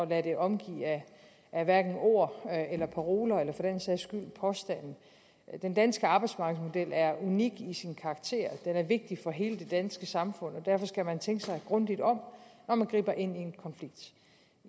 lade det omgive af ord eller paroler eller for den sags skyld påstande den danske arbejdsmarkedsmodel er unik i sin karakter og den er vigtig for hele det danske samfund derfor skal man tænke sig grundigt om når man griber ind